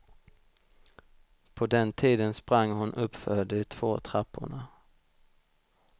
På den tiden sprang hon uppför de två trapporna.